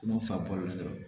N'u fa balolen do